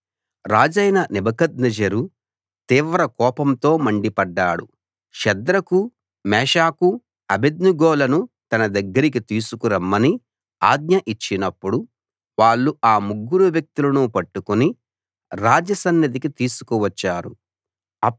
రాజైన నెబుకద్నెజరు తీవ్ర కోపంతో మండిపడ్డాడు షద్రకు మేషాకు అబేద్నెగోలను తన దగ్గరికి తీసుకు రమ్మని ఆజ్ఞ ఇచ్చినప్పుడు వాళ్ళు ఆ ముగ్గురు వ్యక్తులను పట్టుకుని రాజ సన్నిధికి తీసుకువచ్చారు